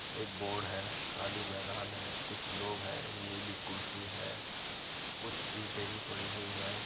एक बोर्ड है। खाली मैदान है। कुछ लोग हैं। एक नीली कुर्सी है। कुछ ईंटें भी पड़ी हुई हैं।